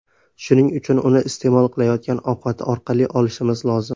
Shuning uchun uni iste’mol qilayotgan ovqatlar orqali olishimiz lozim.